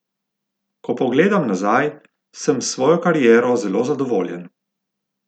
Ko pogledam nazaj, sem s svojo kariero zelo zadovoljen.